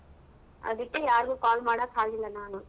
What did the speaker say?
ಅದಕ್ಕೆ ಯಾರಿಗೂ call ಮಾಡಕ್ ಆಗಿಲ್ಲ ನಾನು.